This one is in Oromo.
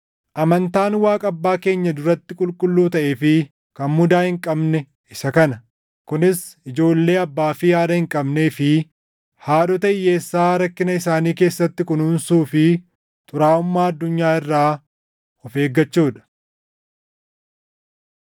Amantaan Waaqa Abbaa keenya duratti qulqulluu taʼee fi kan mudaa hin qabne isa kana: kunis ijoollee abbaa fi haadha hin qabnee fi haadhota hiyyeessaa rakkina isaanii keessatti kunuunsuu fi xuraaʼummaa addunyaa irraa of eeggachuu dha.